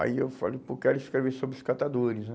Aí eu falei, pô, quero escrever sobre os catadores, né?